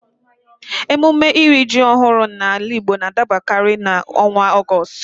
Emume iri ji ọhụrụ n'ala Igbo n'adabakanye n'ọnwa Ọgọstụ